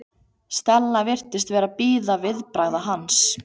Stella virtist vera að bíða viðbragða hans.